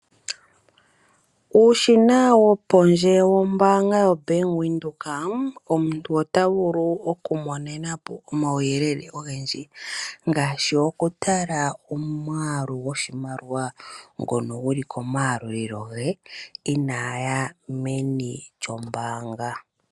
Uushina wopondje wombaaga yobank Windhoek, omuntu ota vulu oku monena po omauyelele ogendji ngaashi okutala omwaalu gwoshinaliwa ngono guli komaalulilo ge inaya meni lyombaanga.